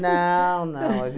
Não, não. A